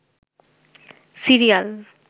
serial